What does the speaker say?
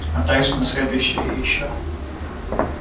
а также и на следующую и ещё